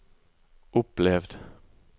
opplevd